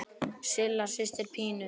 Silla systir Pínu.